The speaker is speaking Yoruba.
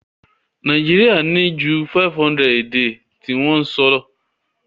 Naijiria ni ju 500 èdè ti won so